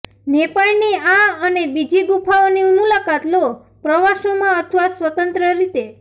નેપાળની આ અને બીજી ગુફાઓની મુલાકાત લો પ્રવાસોમાં અથવા સ્વતંત્ર રીતે